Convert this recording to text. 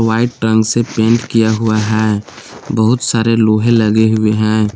White रंग से paint किया हुआ है बहुत सारे लोहे लगे हुए हैं।